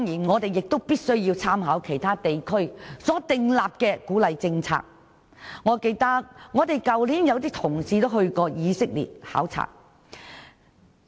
我們亦必須參考其他地區所訂立的鼓勵政策，有些同事去年便曾前往以色列考察。